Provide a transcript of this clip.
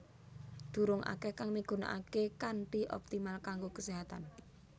Durung akeh kang migunakake kanthi optimal kanggo keséhatan